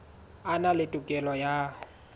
a na le tokelo ya